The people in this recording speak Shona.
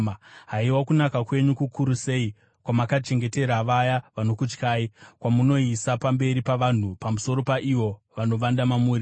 Haiwa, kunaka kwenyu kukuru sei, kwamakachengetera vaya vanokutyai, kwamunoisa pamberi pavanhu, pamusoro paivo vanovanda mamuri.